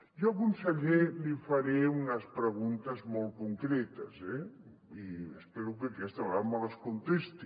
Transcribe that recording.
jo conseller li faré unes preguntes molt concretes eh i espero que aquesta vegada me les contesti